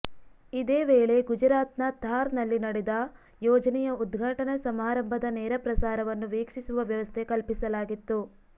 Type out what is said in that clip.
ಇದೇ ವೇಳೆ ಗುಜರಾತ್ನ ಥಾರ್ನಲ್ಲಿ ನಡೆದ ಯೋಜನೆಯ ಉದ್ಘಾಟನಾ ಸಮಾರಂಭದ ನೇರಪ್ರಸಾರವನ್ನು ವೀಕ್ಷಿಸುವ ವ್ಯವಸ್ಥೆ ಕಲ್ಪಿಸಲಾಗಿತ್ತು